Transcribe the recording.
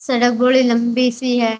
सड़क बोली लंबी सी है।